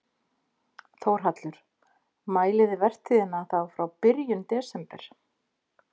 Þórhallur: Mælið þið vertíðina þá frá byrjun desember?